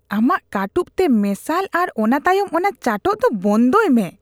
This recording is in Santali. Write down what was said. ᱟᱢᱟᱜ ᱠᱟᱹᱴᱩᱵ ᱛᱮ ᱢᱮᱥᱟᱞ ᱟᱨ ᱚᱱᱟ ᱛᱟᱭᱚᱢ ᱚᱱᱟ ᱪᱟᱴᱚᱜ ᱫᱚ ᱵᱚᱱᱫᱚᱭ ᱢᱮ ᱾